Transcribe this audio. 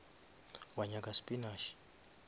wa nyaka spinash